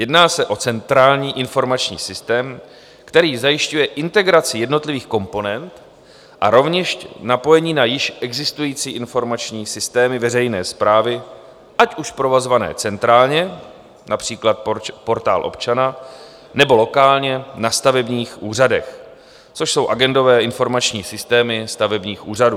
Jedná se o centrální informační systém, který zajišťuje integraci jednotlivých komponent a rovněž zapojení na již existující informační systémy veřejné správy, ať už provozované centrálně, například Portál občana, nebo lokálně na stavebních úřadech, což jsou agendové informační systémy stavebních úřadů.